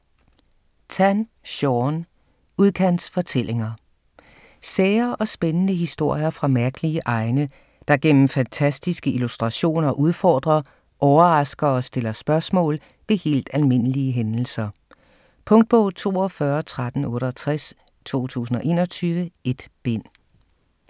Tan, Shaun: Udkantsfortællinger Sære og spændende historier fra mærkelige egne, der gennem fantastiske illustrationer udfordrer, overrasker og stiller spørgsmål ved helt almindelige hændelser. Punktbog 421368 2021. 1 bind.